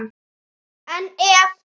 En ef?